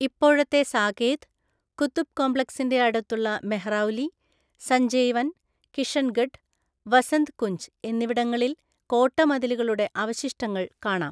ഇപ്പോഴത്തെ സാകേത്, കുതുബ് കോംപ്ലക്സിന്റെ അടുത്തുള്ള മെഹ്രൗലി, സഞ്ജയ് വൻ, കിഷൻഗഡ്, വസന്ത് കുഞ്ച് എന്നിവിടങ്ങളിൽ കോട്ടമതിലുകളുടെ അവശിഷ്ടങ്ങൾ കാണാം.